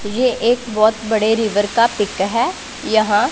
ये एक बहोत बड़े रिवर का पिक है यहां--